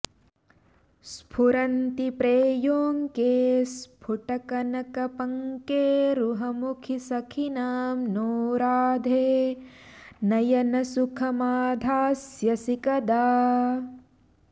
स्फुरन्ती प्रेयोऽङ्के स्फुटकनकपङ्केरुहमुखी सखीनां नो राधे नयनसुखमाधास्यसि कदा